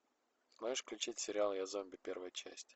можешь включить сериал я зомби первая часть